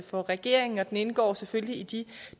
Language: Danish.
for regeringen og den indgår selvfølgelig i de